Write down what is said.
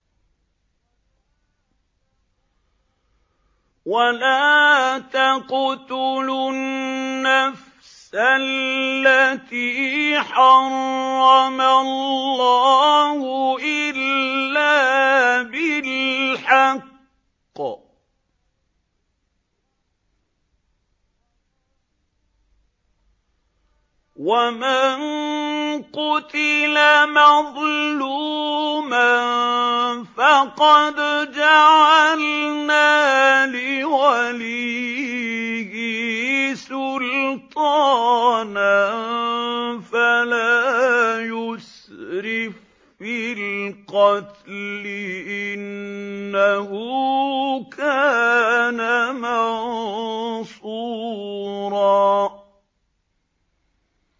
وَلَا تَقْتُلُوا النَّفْسَ الَّتِي حَرَّمَ اللَّهُ إِلَّا بِالْحَقِّ ۗ وَمَن قُتِلَ مَظْلُومًا فَقَدْ جَعَلْنَا لِوَلِيِّهِ سُلْطَانًا فَلَا يُسْرِف فِّي الْقَتْلِ ۖ إِنَّهُ كَانَ مَنصُورًا